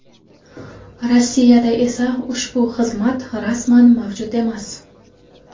Rossiyada esa ushbu xizmat rasman mavjud emas.